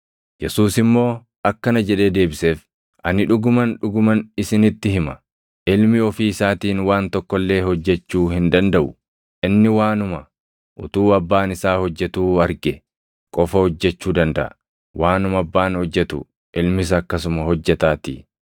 Yesuus immoo akkana jedhee deebiseef; “Ani dhuguman, dhuguman isinitti hima; Ilmi ofii isaatiin waan tokko illee hojjechuu hin dandaʼu; inni waanuma utuu Abbaan isaa hojjetuu arge qofa hojjechuu dandaʼa; waanuma Abbaan hojjetu Ilmis akkasuma hojjetaatii.